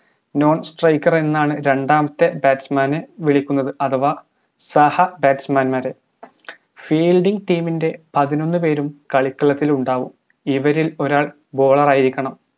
non striker എന്നാണ് രണ്ടാമത്തെ batsman നെ വിളിക്കുന്നത് അഥവാ സഹ batsman മാര് fileding ടീമിന്റെ പതിനൊന്നു പേരും കളിക്കളത്തിലുണ്ടാവും ഇവരിൽ ഒരാൾ bowler ആയിരിക്കണം